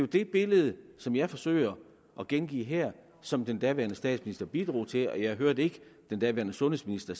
det billede som jeg forsøger at gengive her som den daværende statsminister bidrog til og jeg hørte ikke at den daværende sundhedsminister